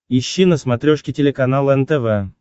ищи на смотрешке телеканал нтв